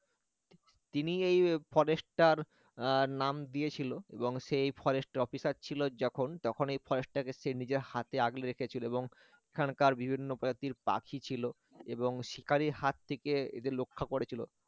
তিনি এই forest র আহ নাম দিয়েছিল এবং সেই forest officer ছিল যখন যখন এই forest টা কে সে নিজের হাতে আগলে রেখেছিল এবং এখানকার বিভিন্ন প্রজাতির পাখি ছিল এবং শিকারির হাত থেকে এদের রক্ষা করেছিল